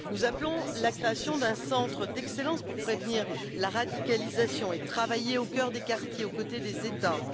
Nous appelons à la création d'un centre d'excellence pour prévenir la radicalisation et travailler au cœur des quartiers aux côtés des États.